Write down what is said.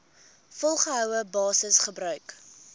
volgehoue basis gebruik